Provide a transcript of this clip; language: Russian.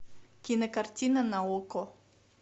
кинокартина на окко